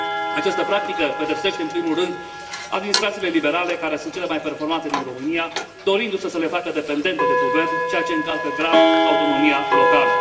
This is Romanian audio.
Această practică pedepsește în primul rând administrațiile liberale, care sunt cele mai performante din România, dorindu se să le facă dependente de guvern, ceea ce încalcă grav autonomia locală.